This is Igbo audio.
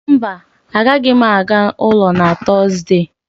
mba, agaghị m aga ụlọ na Tọzdee